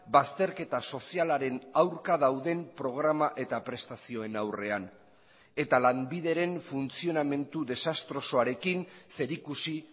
bazterketa sozialaren aurka dauden programa eta prestazioen aurrean eta lanbideren funtzionamendu desastrosoarekin zerikusi